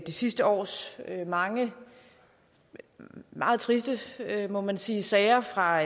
det sidste års mange meget triste må man sige sager fra